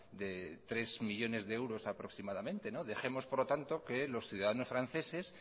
de tres millónes de euros aproximadamente dejemos por lo tanto que los ciudadanos franceses